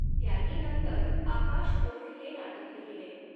त्यांनी नंतर आकाशओढ हे नाटक लिहिले.